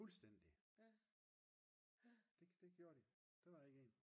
fuldstændig det gjorde de. Der var ikke en